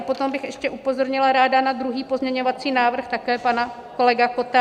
A potom bych ještě upozornila ráda na druhý pozměňovací návrh, také pana kolegy Kotta.